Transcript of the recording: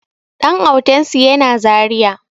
Ɗan autansu yana zaria